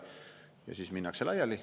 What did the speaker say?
" Ja siis minnakse laiali.